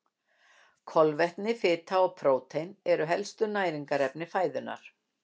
Kolvetni, fita og prótín eru helstu næringarefni fæðunnar.